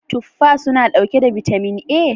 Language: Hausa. afuls suna dauke da bitamin A?